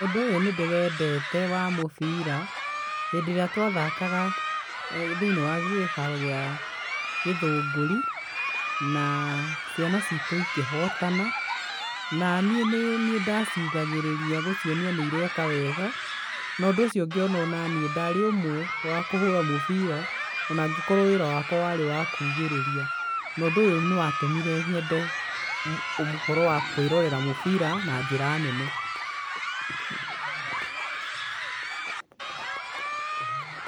Ũndũ ũyũ nĩ ndĩwendete, wa mũbira. Hĩndĩ ĩrĩa twathakaga thĩinĩ wa kĩharo kĩa gĩthũngũri, na ciana citũ ikĩhotana, na niĩ nĩ niĩ ndaciugagĩrĩria gũcionia nĩ ireka wega, no ũndũ ũcio ngĩona o naniĩ ndarĩ ũmwe wa kũhũra mũbira, o na angĩkorũo wĩra wakwa warĩ wa kuugĩrĩria, na ũndũ ũyũ nĩ watũmire nyende ũhoro wa kũĩrorera mũbira na njĩra nene.